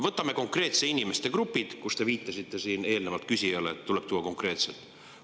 Võtame konkreetsed inimeste grupid, sest te viitasite eelnevalt küsijale, et tuleb konkreetselt.